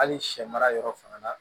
Hali sɛ mara yɔrɔ fana la